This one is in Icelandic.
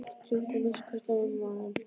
Strjúktu að minnsta kosti á mér magann.